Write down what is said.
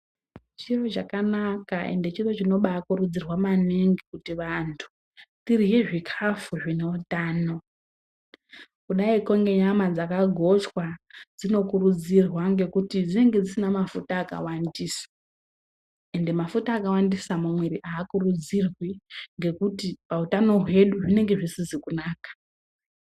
Chiro chakanaka ende chiro chinobakurudzirwa maningi kuti vantu tirye zvikafu zvine utano, kudaiko ngenyama dzakagochwa dzinokurudzirwa ngekuti dzinenge dzisina mafuta akawandisa, Ende mafuta akawandisa mumwiiri haakurudzirwi, ngekuti pautano hwedu zvinenge zvisizi kunaka.